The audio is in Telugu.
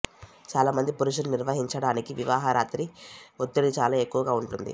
చాలామంది పురుషులు నిర్వహించడానికి వివాహ రాత్రి ఒత్తిడి చాలా ఎక్కువగా ఉంటుంది